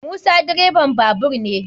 Musa direban babur ne.